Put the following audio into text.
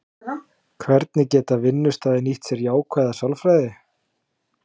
Hvernig geta vinnustaðir nýtt sér jákvæða sálfræði?